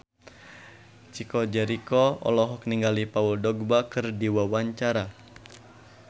Chico Jericho olohok ningali Paul Dogba keur diwawancara